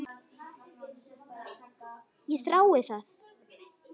Ég þrái það.